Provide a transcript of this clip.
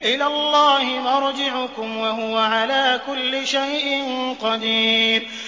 إِلَى اللَّهِ مَرْجِعُكُمْ ۖ وَهُوَ عَلَىٰ كُلِّ شَيْءٍ قَدِيرٌ